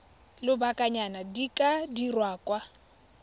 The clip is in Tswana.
lobakanyana di ka dirwa kwa